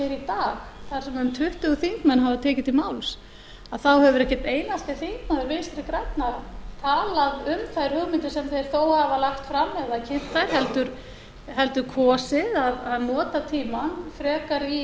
dag þar sem um tuttugu þingmenn hafa tekið til máls hefur ekki einn einasti þingmaður vinstri grænna talað um þær hugmyndir sem þeir þó hafa lagt fram eða kynnt heldur kosið að nota tímann frekar í